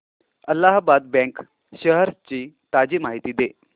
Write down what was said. Allahabad bank shares ची ताजी माहिती दे